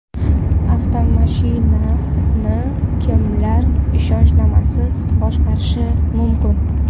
Avtomashinani kimlar ishonchnomasiz boshqarishi mumkin?.